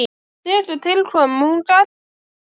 Þegar til kom,- hún gat ekki sagt það.